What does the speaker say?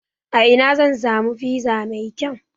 A ina zan samu fiza mai kau?